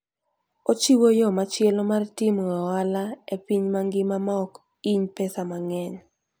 Ochiwo yo machielo mar timo ohala e piny mangima maok hiny pesa mang'eny.